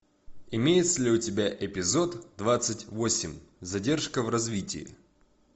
имеется ли у тебя эпизод двадцать восемь задержка в развитии